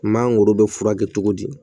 Mangoro bɛ furakɛ cogo di